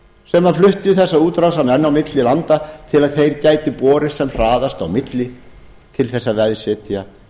sem fluttu þessa útrásarmenn á milli landa til að þeir gætu borist sem hraðast á milli til þess að veðsetja